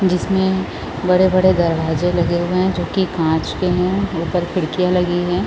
जिसमें बड़े-बड़े दरवाज़े लगे हुए है जोकि काँच के है ऊपर खिड़कियाँ लगी हैं ।